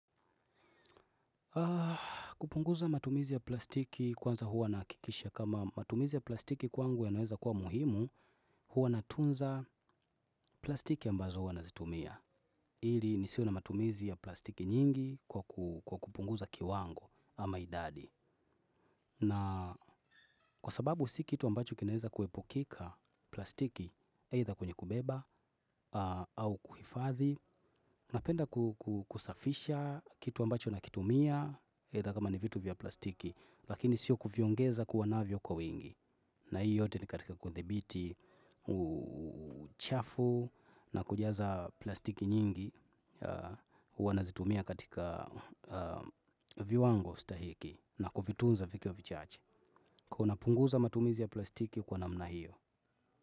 Kupunguza matumizi ya plastiki kwanza hua nahakikisha kama matumizi ya plastiki kwangu yanaweza kuwa muhimu, hua natunza plastiki ambazo hua nazitumia. Ili nisiwe na matumizi ya plastiki nyingi kwa kupunguza kiwango ama idadi. Na kwa sababu si kitu ambacho kinaweza kuepukika plastiki, eitha kwenye kubeba au kuhifadhi. Napenda kusafisha kitu ambacho nakitumia eitha kama ni vitu vya plastiki. Lakini sio kuviongeza kuwa navyo kwa wingi. Na hii yote ni katika kuthibiti, uchafu na kujaza plastiki nyingi. Uwa nazitumia katika viuongo stahiki na kuvitunza vikiwa vichache. Kwa ivo napunguza matumizi ya plastiki kwa namna hiyo.